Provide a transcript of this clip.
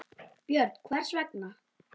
Björn: Hvers vegna?